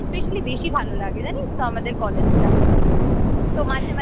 especially বেশি ভালো লাগে জানিস তো আমাদের কলেজটা